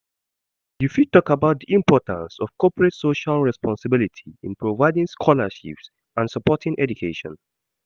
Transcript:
You fit talk about di importance of corporate social responsibility in providing scholarships and supporting education.